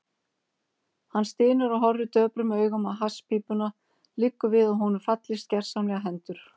Hann stynur og horfir döprum augum á hasspípuna, liggur við að honum fallist gersamlega hendur.